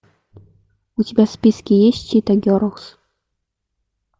у тебя в списке есть чита герлз